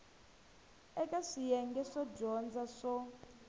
eka swiyenge swo dyondza swo